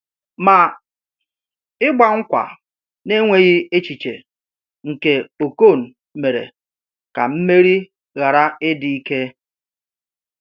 Ma, ịgba nkwa n’enweghị echiche nke Okon mere ka mmeri ghara ịdị ike.